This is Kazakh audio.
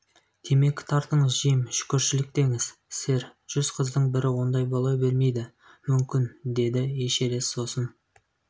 темекі тартыңыз джим шүкіршілік деңіз сэр жүз қыздың бірі ондай бола бермейді мүмкін деді эшерест сосын